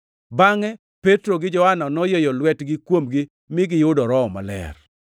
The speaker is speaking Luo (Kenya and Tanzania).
Bangʼe Petro gi Johana noyieyo lwetgi kuomgi mi giyudo Roho Maler.